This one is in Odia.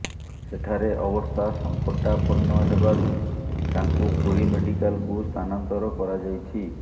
ସେଠାରେ ଅବସ୍ଥା ସଂକଟାପର୍ଣ୍ଣ ହେବାରୁ ତାଙ୍କୁ ପୁରୀ ମେଡିକାଲକୁ ସ୍ଥାନାନ୍ତର କରାଯାଇଛି